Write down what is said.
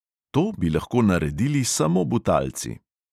To bi lahko naredili samo butalci.